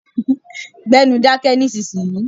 Gbẹ́nu dáké nísìsi yìí.